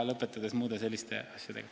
Ain Lutsepp.